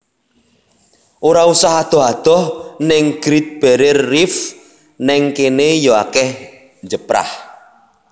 Ora usah adoh adoh ning Great Barrier Reef ning kene yo akeh njeprah